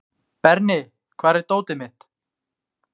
Berni, hvar er dótið mitt?